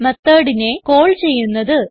Methodനെ call ചെയ്യുന്നത്